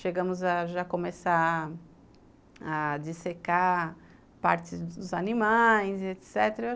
Chegamos a já começar a dissecar partes dos animais, etc.